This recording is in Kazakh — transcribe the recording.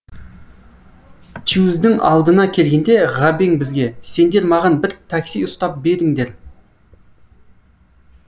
тюз дың алдына келгенде ғабең бізге сендер маған бір такси ұстап беріңдер